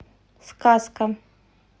сказка